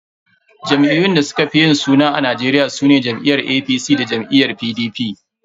Jam'iyyun da suka fi yin suna a Najeriya sune jam'iyyar APC da jam'iyyar PDP.